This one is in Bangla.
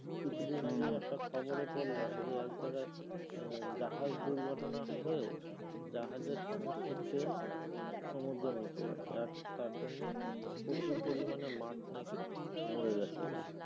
কিছু দিন আগে একটা খবর এ পড়লাম যে আহ এক জায়গায় জাহাজ দুর্ঘটনা হয়ে জাহাজের সমস্থ তেল সমুদ্রের নিচে যাচ্ছে আর তার জন্য প্রচুর পরিমানে মাছ না কি মরে যাচ্ছে কি